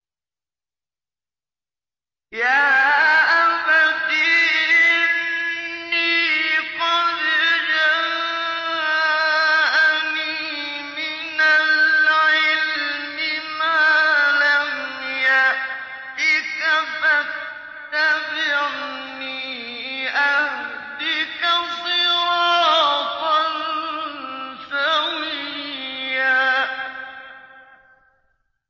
يَا أَبَتِ إِنِّي قَدْ جَاءَنِي مِنَ الْعِلْمِ مَا لَمْ يَأْتِكَ فَاتَّبِعْنِي أَهْدِكَ صِرَاطًا سَوِيًّا